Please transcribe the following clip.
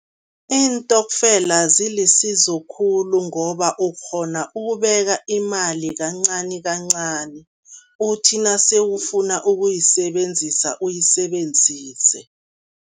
Iintokfela zilisizo khulu ngoba ukghona ukubeka imali kancanikancani, uthi nase ufuna ukuyisebenzisa uyisebenzise.